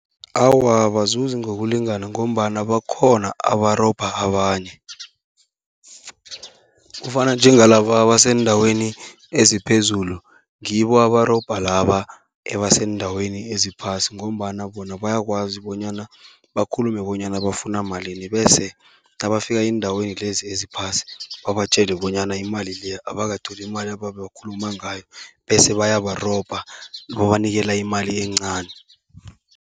Awa, abazuzi ngokulingana ngombana bakhona abarobha abanye, kufana njengalaba abaseendaweni eziphezulu ngibo abarobha laba ebaseendaweni eziphasi, ngombana bona bayakwazi bonyana bakhulume bonyana bafuna malini. Bese nabafika eendaweni lezi eziphasi babatjele bonyana imali leyo abakatholi imali abebekhuluma ngayo, bese bayabarobha babanikela imali encani.